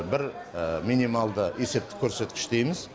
бір минималды есептік көрсеткіш дейміз